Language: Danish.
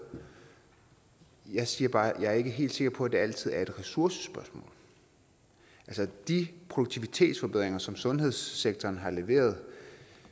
jeg siger bare at jeg ikke er helt sikker på at det altid er et ressourcespørgsmål altså de produktivitetsforbedringer som sundhedssektoren har leveret